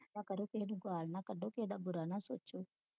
ਕਰੋ ਕਿਹੇ ਨੂੰ ਗਾਲ ਨਾ ਕੱਢੋ ਕਿਹੇ ਦਾ ਬੁਰਾ ਨਾ ਸੋਚੋ